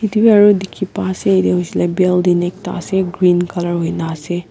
etu bhi aru dekhi pai ase jatte hoise le building ekta ase green colour hoina ase.